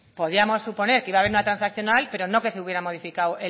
podíamos suponer que iba a haber una transaccional pero no que se hubiera modificado